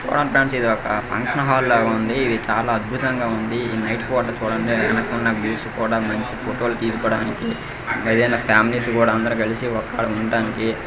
చుడండి ఫ్రెండ్స్ ఇదొక function hall ల వుంది ఇది చాల అద్బుహతంగ వుంది ఇది నైట్ పూట చుడండి వెనుకున్న వ్యూస్ కూడ మంచి ఫోటో లు తీసుకోడానికి ఏదైనా ఫ్యామిలీస్ కూడ అందరు కలిసి ఒక్కాడ ఉండడానికి --